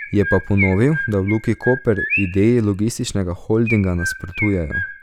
Je pa ponovil, da v Luki Koper ideji logističnega holdinga nasprotujejo.